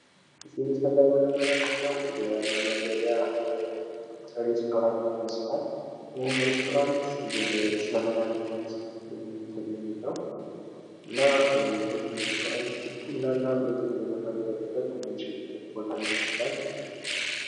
በምስሉ ላይ የምንመለከተው የመመገቢያ ሬስቶራንት ይመስላል ። ይህም ሬስቶራንት ወደ ዘመናዊነት እንትን የሚል ነው። እና ይሄም ሬስቶራንት ቡናና ምግብ ልንመገብበት ምንችልበት ቦታ ይመስላል።